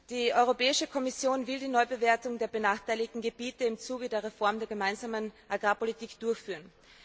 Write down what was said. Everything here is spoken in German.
Die Europäische Kommission will die Neubewertung der benachteiligten Gebiete im Zuge der Reform der gemeinsamen Agrarpolitik durchführen.